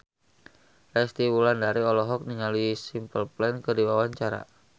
Resty Wulandari olohok ningali Simple Plan keur diwawancara